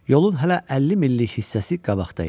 Yolun hələ 50 millik hissəsi qabaqda idi.